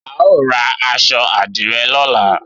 A ó ra aṣọ àdìrẹ lọ́la